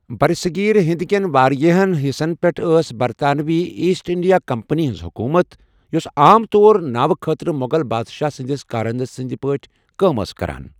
برصغیر ہِند کٮ۪ن واریٛاہَن حِصَن پٮ۪ٹھ ٲس برطانوی ایسٹ انڈیا کمپنی ہٕنٛز حکوٗمت، یۄسہٕ عام طور ناوٕ خٲطرٕ مۄغل بادشاہ سٕنٛدِس كارندٕ سٕنٛدۍ پٲٹھۍ كٲم كران ٲس ۔